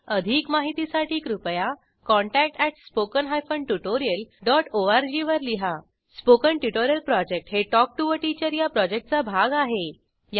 अधिक माहितीसाठी कृपया contact at spoken hyphen tutorial dot O R G वर लिहा स्पोकन ट्युटोरियल प्रॉजेक्ट हे टॉक टू टीचर या प्रॉजेक्टचा भाग आहे